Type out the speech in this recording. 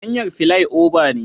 Hanyar filai oba ne